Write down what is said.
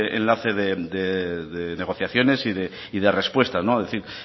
ese enlace de negociaciones y de respuestas